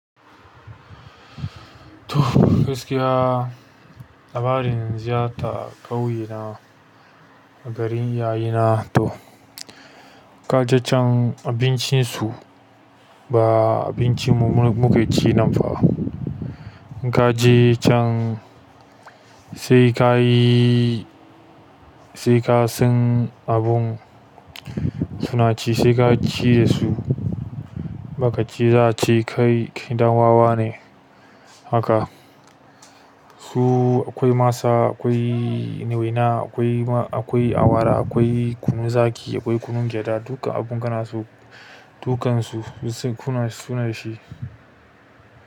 To gaskiya labarin ziyarta ƙauye na a garin iyaye na to. Kaje can abincin su ba abincin mu muke ci nan fa. Kaje can sai ka yi, sai ka san abun suna ci, sai ka ci da su bakaci za'ace kai ɗan wawa ne haka. Su akwai masa, akwai waina, akwai awara, akwai kunun zaƙi, akwai kunun gyaɗa duka abun kana so dukansu suna ci.